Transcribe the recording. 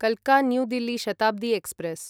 काल्का New Delhi Shatabdi express